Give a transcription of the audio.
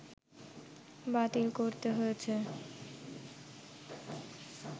বাতিল করতে হয়েছে